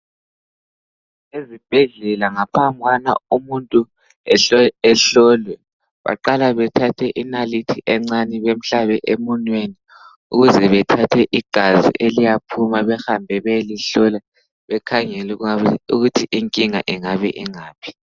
Ezibhedlela ngaphambwana umuntu ehlolwe baqale bethathe inalithi encane bemhkabe emunweni ukuze bethathe igazi eliyaphuma behambe beyelihlola bekhangele ukuthi inkinga ingabe ingaphi.